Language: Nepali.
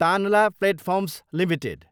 Tanla platforms Ltd